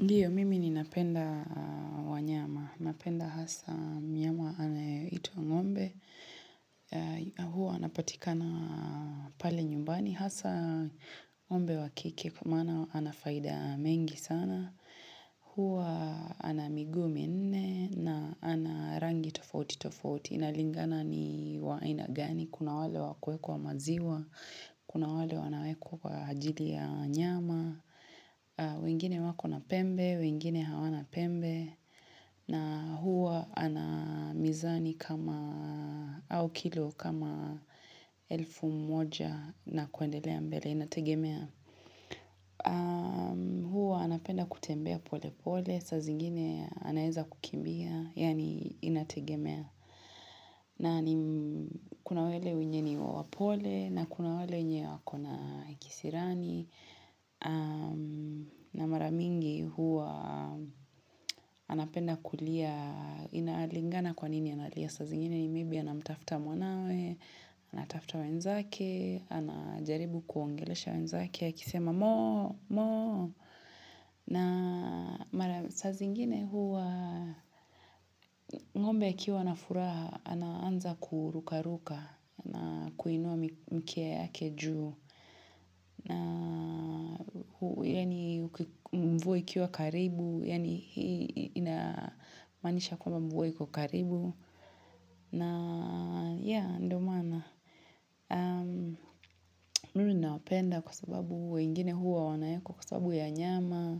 Ndiyo, mimi ni napenda wanyama. Napenda hasa mnyama anayeitwa ngombe. Huwa anapatika na pale nyumbani. Hasaa ng'ombe wakike kwa maana anafaida mengi sana. Huwa anamiguu minne na anarangi tofauti tofauti. Inalingana ni wa aina gani. Kuna wale wakuekwa wa maziwa. Kuna wale wanawekwa kwa ajili ya nyama. Wengine wako na pembe, wengine hawana pembe na huwa anamizani kama au kilo kama elfu mmoja na kuendelea mbele, inategemea. Huwa anapenda kutembea pole pole, sa zingine anaeza kukimbia, yani inategemea. Na kunawele wenye ni wapole na kuna wenye wako na kisirani na maramingi huwa wanapenda kulia Inalingana kwanini analia sa zingine ni maybe anamtafta mwanawe Anatafta wenzake anajaribu kuongelesha wenzake akisema moo moo na mara saa zingine huwa ng'ombe akiwa na furaha anaanza kuruka ruka na kuinua mkia yake juu na yani mvua ikiwa karibu yani hii inamanisha kwamba mvua iko karibu na yeah ndio maana aah mimi nawapenda kwa sababu weingine huwa wanawekwa kwa sababu ya nyama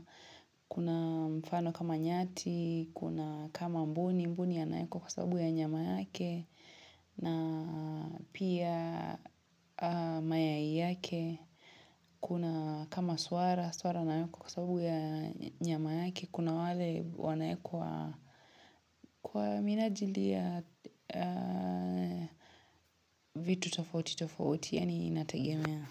Kuna mfano kama nyati kuna kama mbuni mbuni anaekwa kwa sababu ya nyama yake na pia mayai yake kuna kama swara swara anaekwa kwa sababu ya nyama yake kuna wale wanaekwa kwa minajili ya vitu tofauti tofauti yani inategemea.